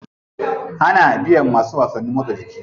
Ana biyan masu wasannin motsa jiki.